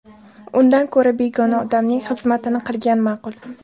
Undan ko‘ra begona odamning xizmatini qilgan ma’qul.